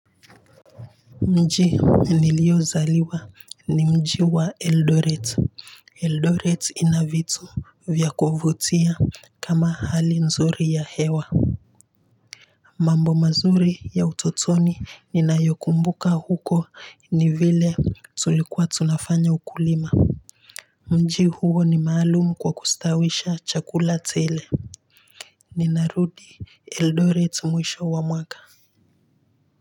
Mji niliozaliwa ni mji wa Eldoret, Eldoret inavitu vyakuvutia kama hali nzuri ya hewa mambo mazuri ya utotoni ninayokumbuka huko ni vile tulikuwa tunafanya ukulima mji huo ni maalumu kwa kustawisha chakula tele. Ninarudi Eldoret mwisho wa mwaka.